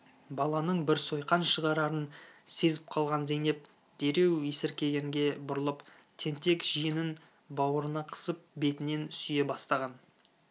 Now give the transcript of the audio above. баланың бір сойқан шығарарын сезіп қалған зейнеп дереу есіркегенге бұрылып тентек жиенін бауырына қысып бетінен сүйе бастаған